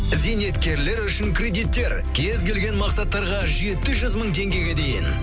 зейнеткерлер үшін кредиттер кез келген мақсаттарға жеті жүз мың теңгеге дейін